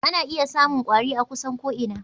Ana iya samun kwari a kusan ko'ina.